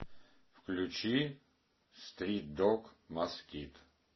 включи стрит дог москит